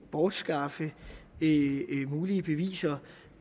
bortskaffe mulige beviser